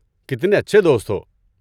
کتنے اچھے دوست ہو!